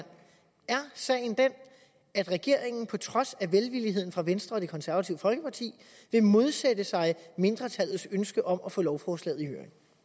er sagen den at regeringen på trods af velvillighed fra venstre og det konservative folkeparti vil modsætte sig mindretallets ønske om at få lovforslaget i høring